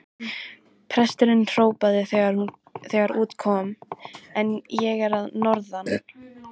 Presturinn hrópaði þegar út kom: En ég er að norðan!